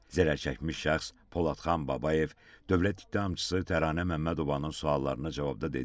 Zərər çəkmiş şəxs Poladxan Babayev dövlət ittihamçısı Təranə Məmmədovanın suallarına cavabda dedi ki,